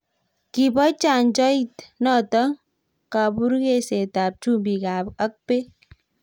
kibo chanjoit noto kaburuksetab chumbik ak beek